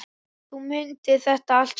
Þú mundir þetta allt saman.